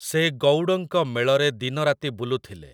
ସେ ଗଉଡ଼ଙ୍କ ମେଳରେ ଦିନରାତି ବୁଲୁଥିଲେ ।